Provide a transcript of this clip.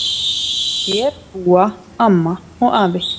Hér búa amma og afi.